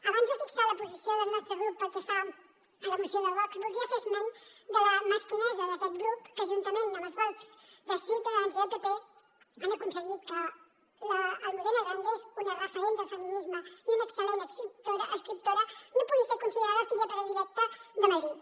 abans de fixar la posició del nostre grup pel que fa a la moció de vox voldria fer esment de la mesquinesa d’aquest grup que juntament amb els vots de ciutadans i del pp han aconseguit que l’almudena grandes una referent del feminisme i una excel·lent escriptora no pugui ser considerada filla predilecta de madrid